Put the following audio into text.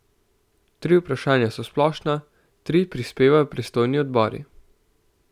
Tri vprašanja so splošna, tri prispevajo pristojni odbori.